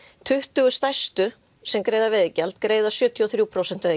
tuttugu stærstu sem greiða veiðigjald greiða sjötíu og þrjú prósent